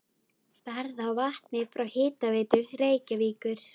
Verð á vatni frá Hitaveitu Reykjavíkur